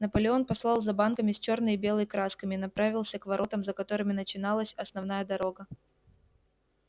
наполеон послал за банками с чёрной и белой красками и направился к воротам за которыми начиналась основная дорога